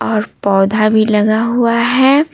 और पौधा भी लगा हुआ है।